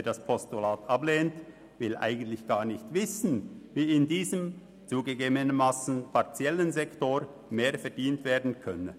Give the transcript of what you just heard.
Wer das Postulat ablehnt, will eigentlich gar nicht wissen, wie in diesem zugegebenermassen partiellen Sektor mehr verdient werden könnte.